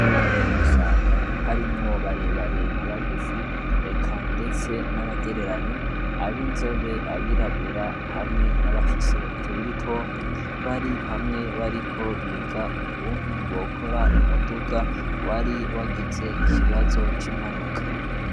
Nabo kumusaga harimwo barebare na bagufi eka, ndetse n'abagereranyi abo inzobe abirabura hamwe n'abafise utubiri tompi bari hamwe bariko biga ukuntu bokora umuduga wari wagize ikibazo c'impanuka.